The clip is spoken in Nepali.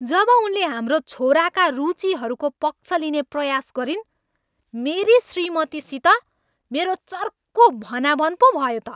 जब उनले हाम्रो छोराका रुचिहरूको पक्ष लिने प्रयास गरिन् मेरी श्रीमतीसित मेरो चर्को भनाभन पो भयो त।